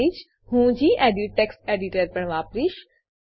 સાથે જ હું ગેડિટ ટેક્સ્ટ એડીટર પણ વાપરીશ